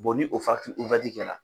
ni o kɛ la